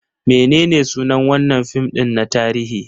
Menene sunan wannan fim din na tarihi?